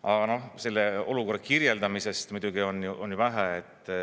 Aga selle olukorra kirjeldamisest muidugi on ju vähe.